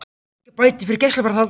Engar bætur fyrir gæsluvarðhald